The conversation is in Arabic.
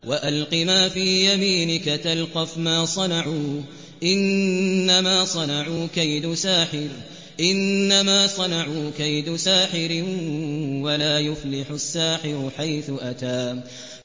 وَأَلْقِ مَا فِي يَمِينِكَ تَلْقَفْ مَا صَنَعُوا ۖ إِنَّمَا صَنَعُوا كَيْدُ سَاحِرٍ ۖ وَلَا يُفْلِحُ السَّاحِرُ حَيْثُ أَتَىٰ